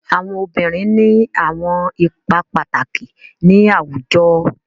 Awọn obirin ni awọn ipa pataki ni awujọ